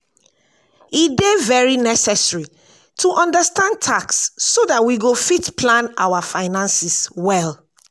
e dey very necessary to understand tax so dat we go fit plan our finances well